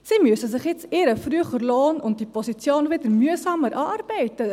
Sie müssen sich jetzt ihren früheren Lohn und die Position wieder mühsam erarbeiten.